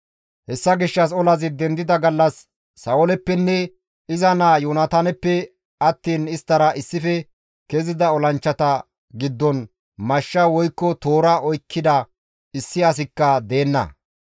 Hessa gishshas olazi dendida gallas Sa7ooleppenne iza naa Yoonataaneppe attiin isttara issife kezida olanchchata giddon mashsha woykko toora oykkida issi asikka deenna.